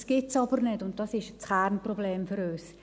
Das gibt es aber nicht, und dies ist das Kernproblem für uns.